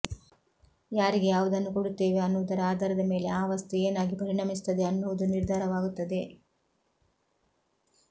ಯಾರಿಗೆ ಯಾವುದನ್ನು ಕೊಡುತ್ತೇವೆ ಅನ್ನುವುದರ ಆಧಾರದಮೇಲೆ ಆ ವಸ್ತು ಏನಾಗಿ ಪರಿಣಮಿಸುತ್ತದೆ ಅನ್ನುವುದು ನಿರ್ಧಾರವಾಗುತ್ತದೆ